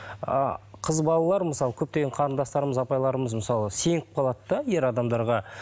ы қыз балалар мысалы көптеген қарындастарымыз апайларымыз мысалы сеніп қалады да ер адамдарға